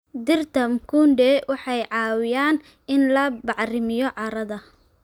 Dhirta mikunde waxay caawiyaan in la bacrimiyo carrada.